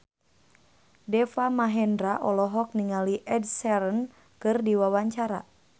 Deva Mahendra olohok ningali Ed Sheeran keur diwawancara